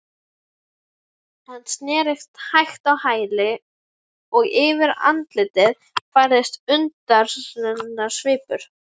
Hann snerist hægt á hæli og yfir andlitið færðist undrunarsvipur.